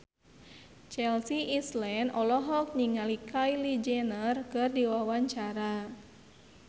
Chelsea Islan olohok ningali Kylie Jenner keur diwawancara